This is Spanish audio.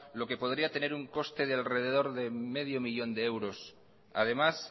lo que podría tener un coste de alrededor de medio millón de euros además